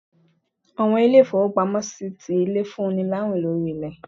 Àwọn ilé-ifowópámọsí tí ilé, fún ní láwín lorí ilé.